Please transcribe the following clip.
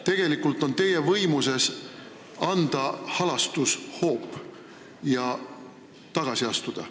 Tegelikult on teie võimuses anda halastushoop ja tagasi astuda.